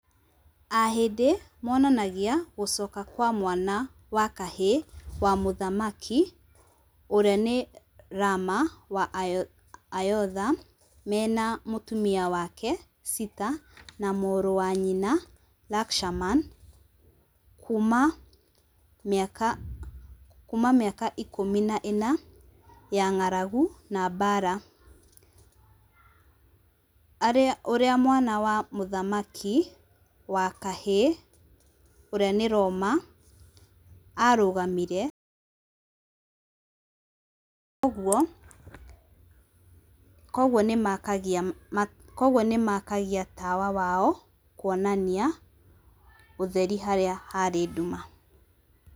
Ahĩndĩ monanagia gũcoka kwa mwana wa kahĩĩ wa mũthamaki ũrĩa ni Rama wa Ayodha, mena mũtumia wake Sita na mũrũ wa nyina Lakshmana kuma mĩaka ikũmi na ĩna ya ng'aragu, na mbaara. Ũrĩa mwana wa mũthamaki wa kahĩĩ ũrĩa ni Roma arũgamire, kogwo, ni makagia tawa wao kũonania ũtheri harĩa haarĩ nduma.